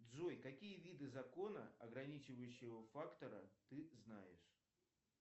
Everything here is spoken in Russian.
джой какие виды закона ограничивающего фактора ты знаешь